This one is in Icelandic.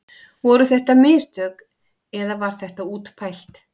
Voru þetta mistök eða var þetta útpælt?